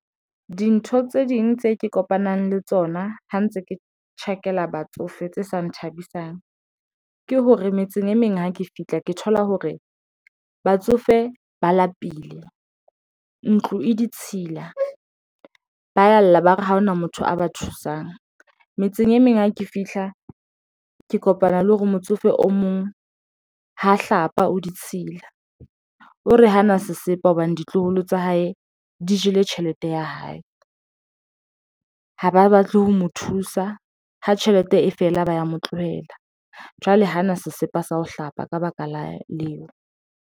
Dintho tse ding tseo ke kopanang le tsona ha ntse ke tjhakela batsofe tse sa nthabisang ke hore metseng e meng, ha ke fihla ke thola hore batsofe ba lapile ntlo e ditshila, ba ya lla, ba re ha hona motho a ba thusang metseng e meng ha ke fihla ke kopana le hore motsofe o mong ha hlapa o ditshila o re hana sesepa hobane ditloholo tsa hae di jele tjhelete ya hae. Ha ba batle ho mo thusa ha tjhelete e fela ba ya mo tlohela jwale, hana sesepa sa ho hlapa ka baka leo.